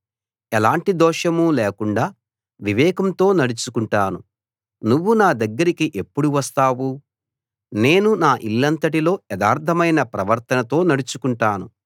ఎలాంటి దోషమూ లేకుండా వివేకంతో నడుచుకుంటాను నువ్వు నా దగ్గరికి ఎప్పుడు వస్తావు నేను నా ఇల్లంతటిలో యథార్థమైన ప్రవర్తనతో నడుచుకుంటాను